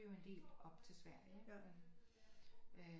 En del op til Sverige ikke men øh